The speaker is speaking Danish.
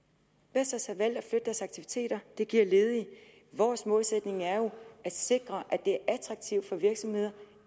vestas har valgt at flytte deres aktiviteter og det giver ledige vores målsætning er jo at sikre at det er attraktivt for virksomheder